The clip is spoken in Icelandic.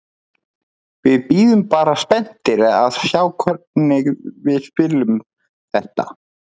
Við bíðum bara spenntir að sjá hvernig við spilum þetta.